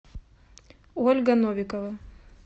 ольга новикова